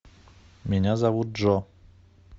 меня зовут джо